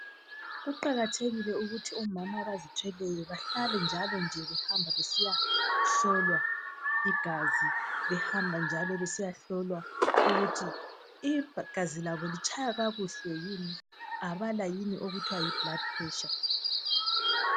Kuqakathekile ukuthi omama abazithweleyo bahlale njalo nje behamba besiyahlolwa igazi, behamba njalo besiyahlolwa ukuthi igazi labo litshaya kakuhle yini abala yini okuthwa yi blood pressure.